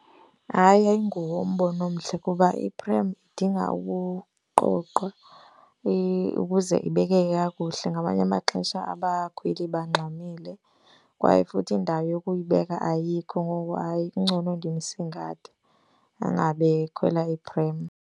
Hayi, ayinguwo umbono omhle kuba iprem idinga ukuqoqwa ukuze ibekeke kakuhle. Ngamanye amaxesha abakhweli bangxamile kwaye futhi indawo yokuyibeka ayikho. Ngoko, hayi, kungcono ndimsingathe angabe ekhwela iprem.